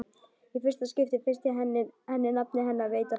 Í fyrsta skipti finnst henni nafnið hennar veita frelsi.